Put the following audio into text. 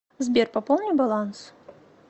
сбер пополни баланс